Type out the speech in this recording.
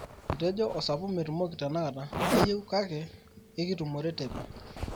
etejo osapuk metumoki tenakata ayeu kake ikitumore teipa